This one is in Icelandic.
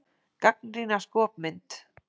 Gagnrýna skopmynd